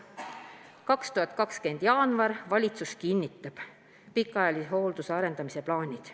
2020 jaanuar – valitsus kinnitab pikaajalise hoolduse arendamise plaanid.